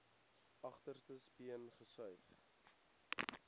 agterste speen gesuig